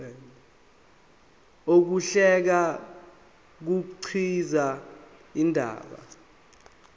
ukuhlela kukhiqiza indaba